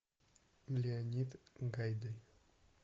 леонид гайдай